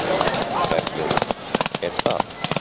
Bergljót: Er það?